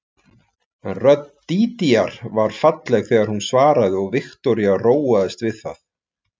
En rödd Dídíar var falleg þegar hún svaraði og Viktoría róaðist við það